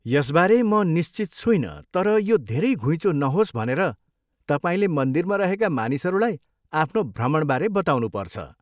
यसबारे म निश्चित छुइनँ तर यो धेरै घुइँचो नहोस् भनेर तपाईँले मन्दिरमा रहेका मानिसहरूलाई आफ्नो भ्रमणबारे बताउनुपर्छ ।